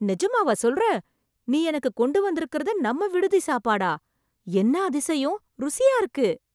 நிஜமாவா சொல்ற, நீ எனக்கு கொண்டு வந்துருக்கறது நம்ம விடுதி சாப்பாடா? என்ன அதிசயம் ருசியா இருக்கு.